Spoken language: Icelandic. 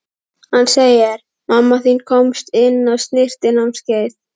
Hann segir: Mamma þín komst inn á snyrtinámskeið.